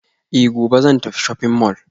Eh gobe zan tafi shopping mall